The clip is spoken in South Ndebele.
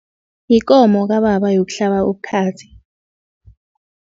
Yikomo kababa yokuhlaba ubukhazi.